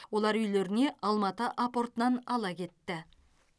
олар үйлеріне алматы апортынан ала кетті